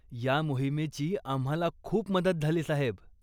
ह्या मोहिमेची आम्हाला खूप मदत झाली साहेब.